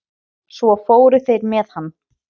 Svo fóru þeir með hann.